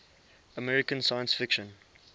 american science fiction